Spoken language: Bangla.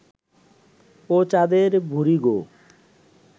ও চাঁদের বুড়ি গো